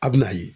A bɛ na ye